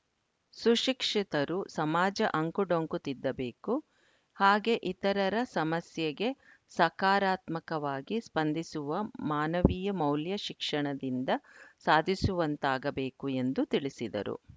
ಸುಶಿಕ್ಷಿತರು ಸಮಾಜ ಅಂಕುಡೊಂಕು ತಿದ್ದಬೇಕು ಹಾಗೆ ಇತರರ ಸಮಸ್ಯೆಗೆ ಸಕಾರಾತ್ಮಕವಾಗಿ ಸ್ಪಂದಿಸುವ ಮಾನವೀಯ ಮೌಲ್ಯ ಶಿಕ್ಷಣದಿಂದ ಸಾಧಿಸುವಂತಾಗಬೇಕು ಎಂದು ತಿಳಿಸಿದರು